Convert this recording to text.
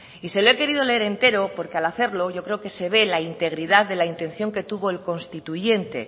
y se lo he querido leer entero porque al hacerlo yo creo que se ve la integridad de la intención que tuvo el constituyente